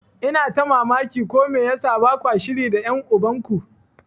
Ina ta mamaki ko me yasa bakwa shiri da ƴan uban ku.